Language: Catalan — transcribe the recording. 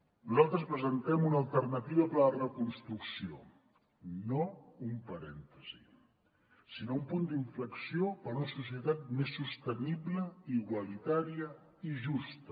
nosaltres presentem una alternativa per a la reconstrucció no un parèntesi sinó un punt d’inflexió per a una societat més sostenible igualitària i justa